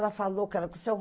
Ela falou que era com o seu